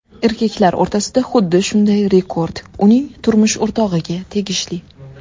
Erkaklar o‘rtasida xuddi shunday rekord uning turmush o‘rtog‘iga tegishli.